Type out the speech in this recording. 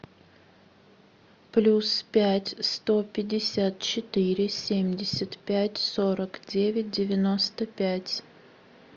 плюс пять сто пятьдесят четыре семьдесят пять сорок девять девяносто пять